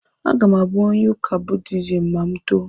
Aga m abụ onye ụka Buddhism ma m too.